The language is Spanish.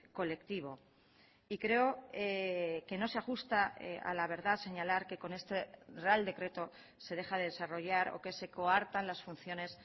colectivo y creo que no se ajusta a la verdad señalar que con este real decreto se deja de desarrollar o que se coartan las funciones